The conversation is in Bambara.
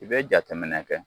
I bɛ jatɛ minɛn kɛ